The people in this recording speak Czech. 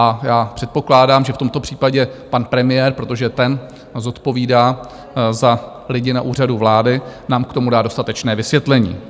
A já předpokládám, že v tomto případě pan premiér, protože ten zodpovídá za lidi na Úřadu vlády, nám k tomu dá dostatečné vysvětlení.